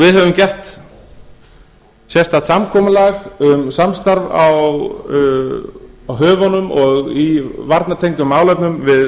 við höfum gert sérstakt samkomulag um samstarf á höfunum og í varnartengdum málefnum við